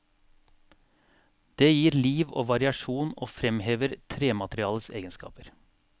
Det gir liv og variasjon og fremhever trematerialets egenskaper.